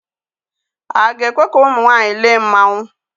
A ga-ekwe ka ụmụ nwaanyị lee mmanwụ